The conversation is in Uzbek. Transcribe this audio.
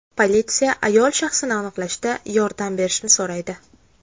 Politsiya ayol shaxsini aniqlashda yordam berishni so‘raydi.